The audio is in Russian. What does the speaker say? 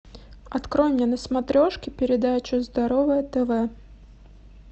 открой мне на смотрешке передачу здоровое тв